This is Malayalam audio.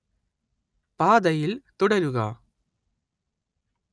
പാതയിൽ തുടരുക